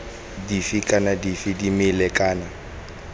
dife kana dife dimela kana